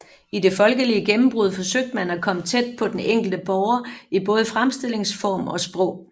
I det folkelige gennembrud forsøgte man at komme tæt på den enkelte borger i både fremstillingsform og sprog